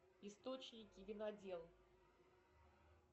источники винодел